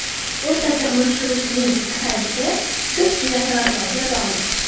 O‘rtacha umr ko‘rishning pasayishi ko‘pgina sabablarga bog‘liq.